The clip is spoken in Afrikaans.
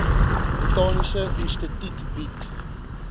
botaniese instituut bied